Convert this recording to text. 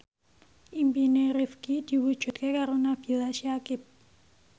impine Rifqi diwujudke karo Nabila Syakieb